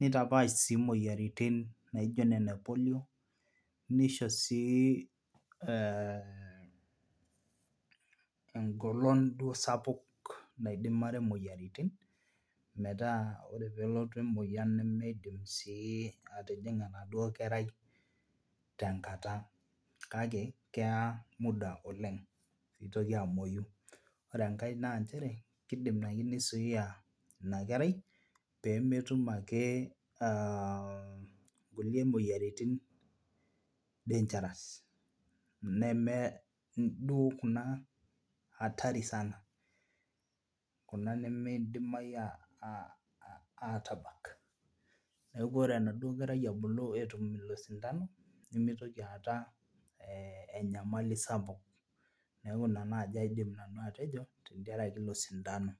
nitapaash sii imoyiaritin naijio nena e polio nisho sii eh engolon duo sapuk naidimare imoyiaritin metaa ore peelotu emoyian nemeidim sii atijing'a enaduo kerai tenkata kake keya muda oleng piitoki amuoyu ore enkae nanchere kidim ake nisuia ina kerai pemetum ake uh kulie moyiaritin dangerous neme duo kuna atari sana kena nemeidimai uh atabak neeku ore enaduo kerai ebulu etum ilo sindano nemitoki aata eh enyamali sapuk niaku ina naaji nanu aidim atejo tentiarake ilo sindano.